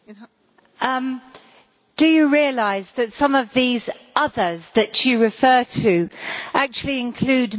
Do you realise that some of these others' that you refer to actually include Members of this House?